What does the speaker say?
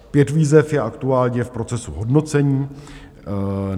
Pět výzev je aktuálně v procesu hodnocení.